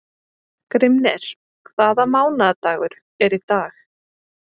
Grímnir, hvaða mánaðardagur er í dag?